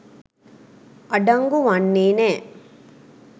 අඩංගු වන්නේ නෑ.